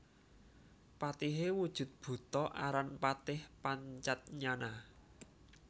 Patihé wujud buta aran Patih Pancatnyana